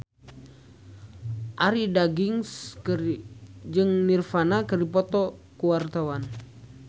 Arie Daginks jeung Nirvana keur dipoto ku wartawan